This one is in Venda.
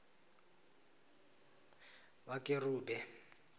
vhakerube